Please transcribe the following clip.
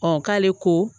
k'ale ko